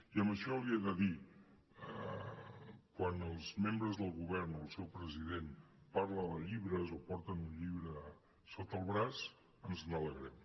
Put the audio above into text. i en això li he de dir quan els membres del govern o el seu president parlen de llibres o porten un llibre sota el braç ens n’alegrem